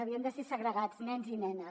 havien de ser segregats nens i nenes